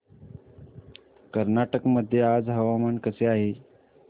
कर्नाटक मध्ये आज हवामान कसे आहे